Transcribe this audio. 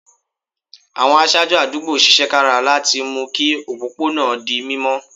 Àwọn aṣáájú àdúgbò ṣiṣẹ́ kára láti mú kí òpópó náà di mímọ́